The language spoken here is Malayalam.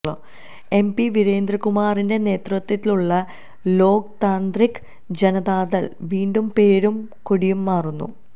എം പി വീരേന്ദ്ര കുമാറിന്റെ നേതൃത്വത്തിലുള്ള ലോക് താന്ത്രിക് ജനതാദൾ വീണ്ടും പേരും കൊടിയും മാറുന്നു